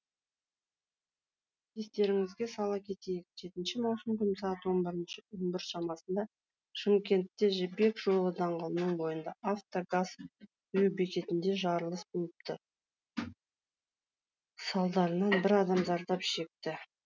естеріңізге сала кетейік жетінші маусым күні сағат он бір шамасында шымкентте жібек жолы даңғылының бойындағы авто газ құю бекетінде жарылыс болыпты салдарынан бір адам зардап шекті